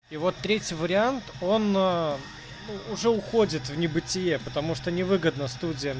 и вот третий вариант он уже уходит в небытие потому что невыгодно студям